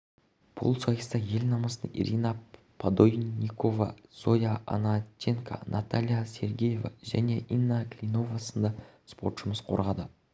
бұл сайыста ел намысын ирина подойникова зоя ананченко наталья сергеева және инна клинова сынды спортшымыз қорғады